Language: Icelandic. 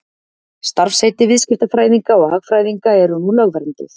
Starfsheiti viðskiptafræðinga og hagfræðinga eru nú lögvernduð.